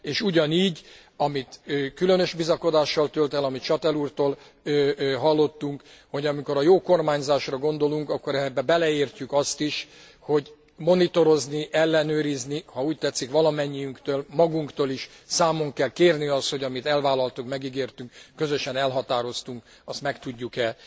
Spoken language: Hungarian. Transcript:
És ugyanígy, különös bizakodással tölt el, amit Chastel úrtól hallottunk, hogy amikor a jó kormányzásra gondolunk, akkor ebbe beleértjük azt is, hogy monitorozni, ellenőrizni, ha úgy tetszik, valamennyiünktől, magunktól is számon kell kérni, hogy amit elvállaltunk, megígértünk, közösen elhatároztunk, azt meg tudjuk e